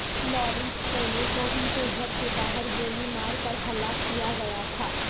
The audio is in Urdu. لارنس فولے کو ان کے گھر کے باہر گولی مار کر ہلاک کیا گیا تھا